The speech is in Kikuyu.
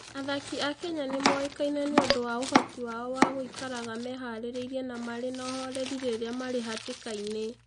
Athaki a Kenya nĩ moĩkaine nĩ ũndũ wa ũhoti wao wa gũikaraga meharĩirie na marĩ na ũhooreri rĩrĩa marĩ hatĩka-inĩ.